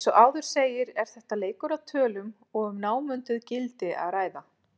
Eins og áður segir er þetta leikur að tölum og um námunduð gildi að ræða.